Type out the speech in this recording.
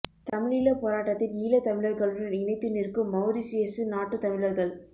தமிழீழ போராட்டத்தில் ஈழத் தமிழர்களுடன் இணைத்து நிற்க்கும் மௌரிசியசு நாட்டு தமிழர்கள்